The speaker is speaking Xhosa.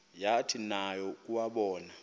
yathi nayo yakuwabona